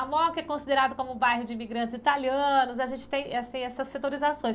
A MOCA é considerada como um bairro de imigrantes italianos, a gente tem essas setorizações.